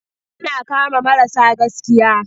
Yana kama marasa gaskiya.